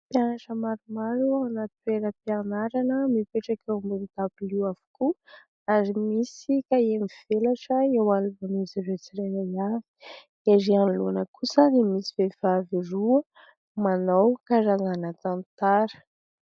Mpianatra maromaro ao anaty toeram-pianarana. Mipetraka eo ambony dabilio avokoa ary misy kahie mivelatra eo alohan'izy ireo tsirairay avy ; ery anoloana kosa dia misy vehivavy roa manao karazana tantara.